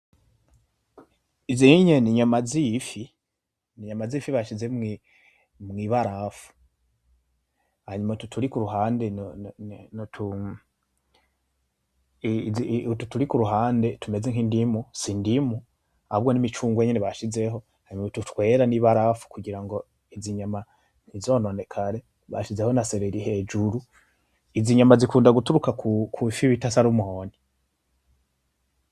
Izi inye ni nyama zifi bashize mwibarafu. Hanyuma utu turi kuruhande tumeze nkindimu, sindimu ahubwo nimicungwe nyene bashizeho, hanyuma utu twera nibarafu kugira ngo izi nyama ntizononekare, bashizeho na seleri hejuru. Izi nyama zikunda guturuka kwifi bita salomoni.